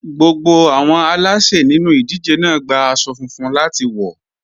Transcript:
Gbogbo àwọn aláṣè nínú ìdíje náà gba aṣọ funfun láti wọ̀.